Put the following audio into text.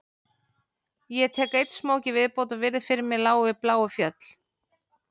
Ég tek einn smók í viðbót og virði fyrir mér lágu bláu fjöll